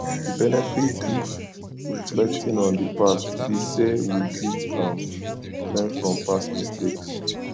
di benefit if reflecting on di past be sey we fit um learn from past mistakes